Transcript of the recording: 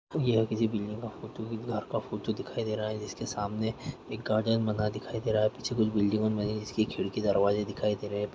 यहां किसी बिल्डिंग का फोटो है घर का फोटो दिखाई दे रहा है जिसके सामने एक गार्डन बना दिखाई दे रहा है पीछे कुछ बिल्डिंग बन रही हैं जिसकी खिड़की दरवाजे दिखाई दे रहे है।